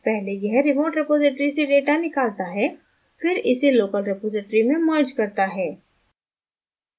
पहले यह remote repository से data निकलता है फिर इसे local रिपॉज़िटरी में merge करता है